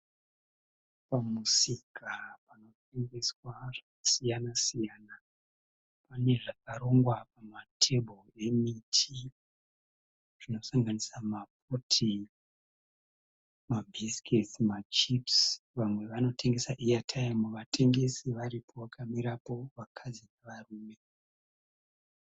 Pamusika panotengeswa zvasiyana-siyana. Panezvakarongwa panatebhuru emiti zvinosanganisira maputi, mabhisiketsi, machipisi. Vamwe vanotengesa eyatimu, vatengesi varipo vakamirapo, vakadzi nevarume